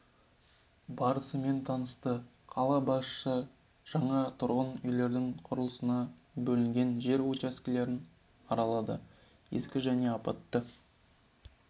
барысымен танысты қала басшысы жаңа тұрғын үйлердің құрылысына бөлінген жер учаскелерін аралады ескі және апатты